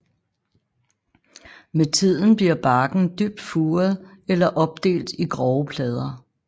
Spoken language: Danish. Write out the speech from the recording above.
Med tiden bliver barken dybt furet eller opdelt i grove plader